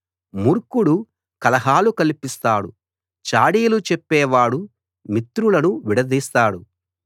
మూర్ఖుడు కలహాలు కల్పిస్తాడు చాడీలు చెప్పేవాడు మిత్రులను విడదీస్తాడు